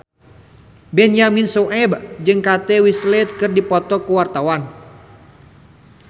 Benyamin Sueb jeung Kate Winslet keur dipoto ku wartawan